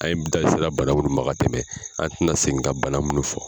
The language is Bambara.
An ye da sera bana minnu ma ka tɛmɛ an tɛna segin ka bana minnu fɔ.